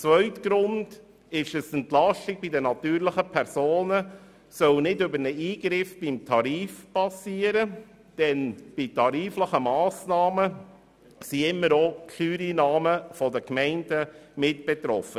Zweitens soll die Entlastung bei den natürlichen Personen nicht über einen Eingriff beim Tarif geschehen, denn von tariflichen Massnahmen sind immer auch die Steuereinnahmen der Gemeinden betroffen.